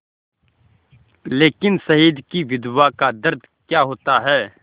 लेकिन शहीद की विधवा का दर्द क्या होता है